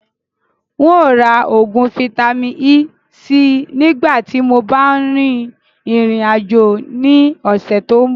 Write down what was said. Ǹ ó ra oògùn Vitamin-E síí nìgbà tíì mo bá rìn ìrìn àjò ni ọ̀sẹ̀ tòun bọ̀